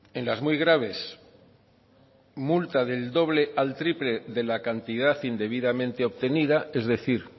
en las muy graves multa del doble al triple de la cantidad indebidamente obtenida es decir